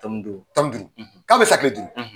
Tan ni duuru, tan ni duuru tan bɛ san kile duuru.